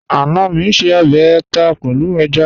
Ana mi ń ṣè ọbẹ̀ àtà pẹ̀lú èjá.